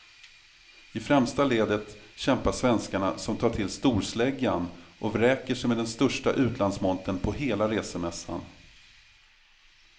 I främsta ledet kämpar svenskarna som tar till storsläggan och vräker sig med den största utlandsmontern på hela resemässan.